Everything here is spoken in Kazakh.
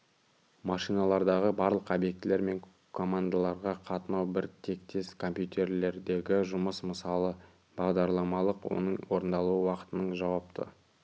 машиналардағы барлық объектілер мен командаларға қатынау бір тектес компьютерлердегі жұмыс мысалы бағдарламалық оның орындалу уақытының жауапты